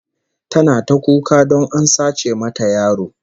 Tana ta kuka don a sace mata yaro